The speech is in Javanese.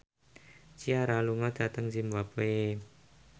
Ciara lunga dhateng zimbabwe